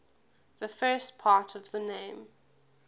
the first part of the name